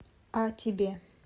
а тебе